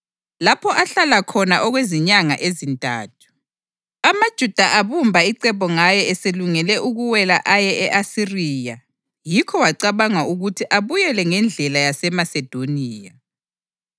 lapho ahlala khona okwezinyanga ezintathu. AmaJuda abumba icebo ngaye eselungele ukuwela aye e-Asiriya yikho wacabanga ukuthi abuyele ngendlela yaseMasedoniya.